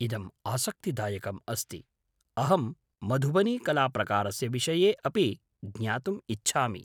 इदम् आसक्तिदायकम् अस्ति। अहं मधुबनीकलाप्रकारस्य विषये अपि ज्ञातुम् इच्छामि।